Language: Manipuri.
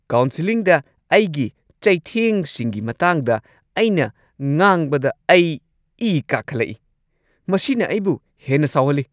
ꯀꯥꯎꯟꯁꯦꯜꯂꯤꯡꯗ ꯑꯩꯒꯤ ꯆꯩꯊꯦꯡꯁꯤꯡꯒꯤ ꯃꯇꯥꯡꯗ ꯑꯩꯅ ꯉꯥꯡꯕꯗ ꯑꯩ ꯏ ꯀꯥꯈꯠꯂꯛꯢ꯫ ꯃꯁꯤꯅ ꯑꯩꯕꯨ ꯍꯦꯟꯅ ꯁꯥꯎꯍꯜꯂꯤ꯫